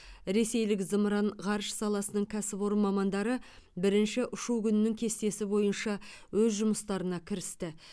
ресейлік зымыран ғарыш саласының кәсіпорын мамандары бірінші ұшу күнінің кестесі бойынша өз жұмыстарына кірісті